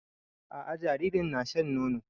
A'a jaririn na shan nono